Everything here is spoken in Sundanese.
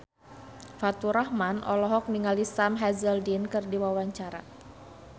Faturrahman olohok ningali Sam Hazeldine keur diwawancara